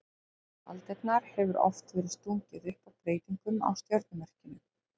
Í gegnum aldirnar hefur oft verið stungið upp á breytingum á stjörnumerkjunum.